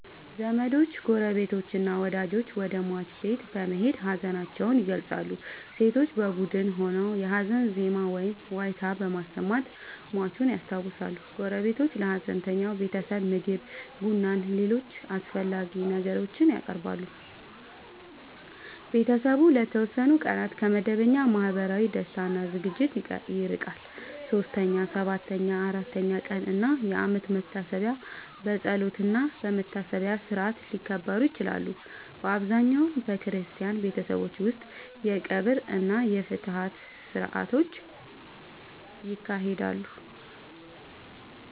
ዘመዶች፣ ጎረቤቶችና ወዳጆች ወደ ሟች ቤት በመሄድ ሀዘናቸውን ይገልጻሉ። ሴቶች በቡድን ሆነው የሀዘን ዜማ ወይም ዋይታ በማሰማት ሟቹን ያስታውሳሉ። ጎረቤቶች ለሀዘንተኛው ቤተሰብ ምግብ፣ ቡናና ሌሎች አስፈላጊ ነገሮችን ያቀርባሉ። ቤተሰቡ ለተወሰኑ ቀናት ከመደበኛ ማህበራዊ ደስታ እና ዝግጅቶች ይርቃል። 3ኛ፣ 7ኛ፣ 40ኛ ቀን እና የአመት መታሰቢያ በጸሎትና በመታሰቢያ ሥርዓት ሊከበሩ ይችላሉ። በአብዛኛው በክርስቲያን ቤተሰቦች ውስጥ የቀብር እና የፍትሐት ሥርዓቶች ይካሄዳሉ።